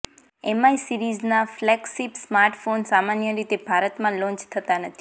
MI સીરીઝના flagship smartphone સામાન્ય રીતે ભારતમાં લોન્ચ થતા નથી